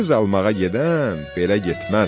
Qız almağa gedən belə getməz.